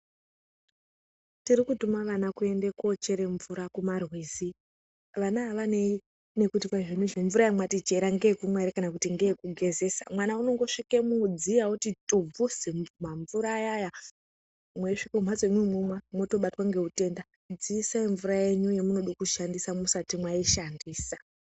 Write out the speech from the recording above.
Tirikutuma vana kuende kocheremvura kumarwizi. Vana avanei nekuti mvura ndeyekumwa here kana kuti ngeye kugezesa, mwana unongosvike mudziya oti tubvu mamvura aya-aya, eisvike kumhatso imi momwa motobatwe ngeutenda, dziisai mvura yenyu yemunoda kushandisa, musati maishandisa